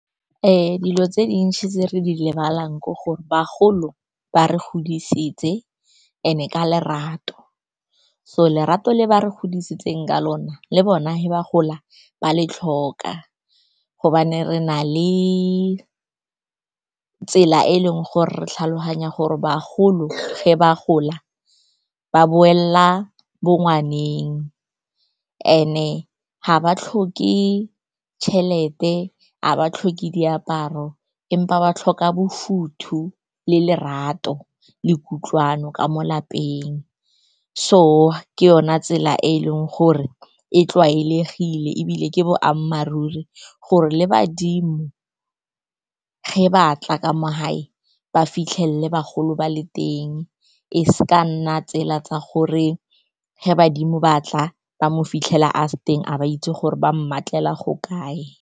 Dilo tse dintsi tse re di lebelelang ke gore bagolo ba re godisitse and-e ka lerato, so lerato le ba re godisitsweng ka lona le bona ge ba gola ba le tlhoka. Gobane re na le tsela e e leng gore re tlhaloganya gore bagolo ge ba gola ba boela bongwaneng, and-e ga ba tlhoke tšhelete, ga ba tlhoke diaparo, empa ba tlhoka bofuthu, lerato le kutlwano ka mo lapeng. So ke yona tsela e eleng gore e tlwaelegileng, ebile ke boammaaruri gore le badimo ge ba batla ka mo gae, ba fitlhelele bagolo ba le teng, e seka ya nna tsela tse di botlhoko gore ge badimo batla ba mo fitlhela a se teng, a ba itse gore ba mmatlela go kae.